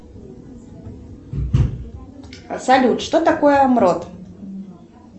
салют что такое мрот